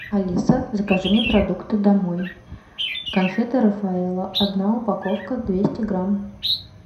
алиса закажи мне продукты домой конфеты рафаэлло одна упаковка двести грамм